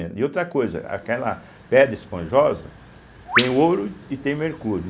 E outra coisa, aquela pedra esponjosa tem o ouro e tem o mercúrio.